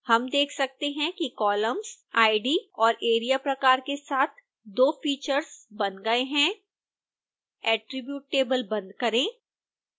हम देख सकते हैं कि कॉलम्स id और area प्रकार के साथ 2 फीचर्स बन गए हैं attribute table बंद करें